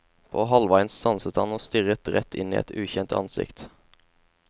På halvveien stanset han og stirret rett inn i et ukjent ansikt.